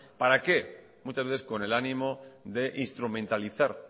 muchas veces con el ánimo de instrumentalizar